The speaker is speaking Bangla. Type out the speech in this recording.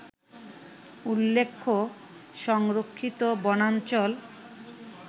উল্লেখ্য, সংরক্ষিত বনাঞ্চল